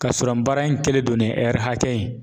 Ka sɔrɔ baara in kɛlen don ni hakɛ ye